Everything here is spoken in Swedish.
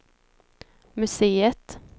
museet